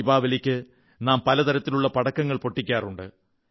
ദീപാവലിക്ക് നാം പല തരത്തിലുള്ള പടക്കങ്ങൾ പൊട്ടിക്കാറുണ്ട്